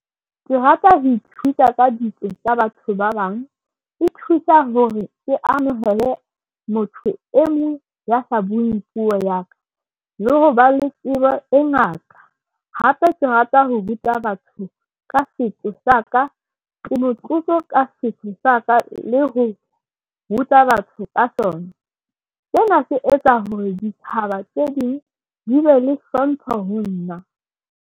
Ke rata ho ithuta ka ditso tsa batho ba bang. E thusa hore ke amohele motho e mong ya sa bueng puo ya ka le ho ba le tsebo e ngata. Hape ke rata ho ruta batho ka setso sa ka. Ke motlotlo ka setso sa ka le ho ruta batho ka sona. Sena se etsa hore ditjhaba tse ding di be le hlompho ho nna.